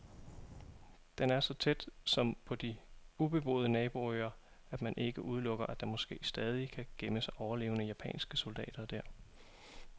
Den er så tæt, som på de ubeboede naboøer, at man ikke udelukker, at der måske stadig kan gemme sig overlevende japanske soldater der.